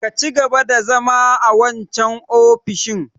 Ka cigaba da zama a wancan ofishin!